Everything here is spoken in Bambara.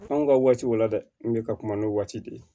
F'anw ka waatiw la dɛ n kun bɛ ka kuma n'o waati de ye